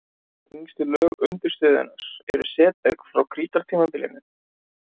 Yngstu lög undirstöðunnar eru setberg frá krítartímabilinu.